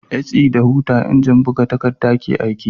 SE da huta injin buga takadda ke aiki